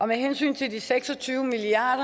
med hensyn til de seks og tyve milliard